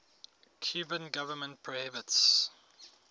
cuban government prohibits